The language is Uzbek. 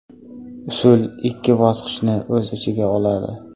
Usul ikki bosqichni o‘z ichiga oladi.